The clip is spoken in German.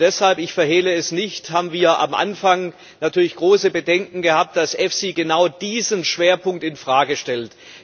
Deshalb ich verhehle es nicht haben wir am Anfang natürlich große Bedenken gehabt, dass EFSI genau diesen Schwerpunkt in Frage stellt.